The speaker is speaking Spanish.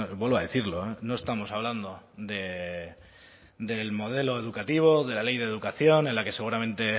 vuelvo a decirlo no estamos hablando del modelo educativo de la ley de educación en la que seguramente